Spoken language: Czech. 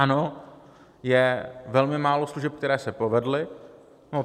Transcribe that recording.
Ano, je velmi málo služeb, které se povedly.